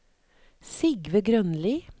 Sigve Grønli